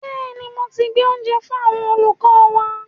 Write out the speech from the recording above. Bẹ́ẹ̀ni, mo ti gbé oúnjẹ fú àwọn olùkọ́ wa.